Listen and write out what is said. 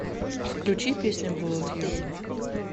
включи песня воулд ю